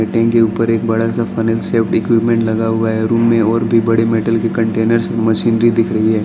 Tin के ऊपर एक बड़ा सा फनलशेव इक्विपमेंट लगा हुआ है रूम में और भी बड़े मेटल के कंटेनर्स मशीनरी दिख रही है।